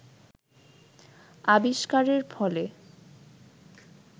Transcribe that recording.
আবিস্কারের ফলে